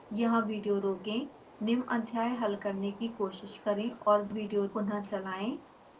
यहाँ विडियो रोकें निम्न अध्याय हल करने की कोशिश करें और विडियो पुनः चलाएं